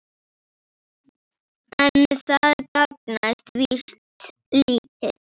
En það gagnast víst lítið.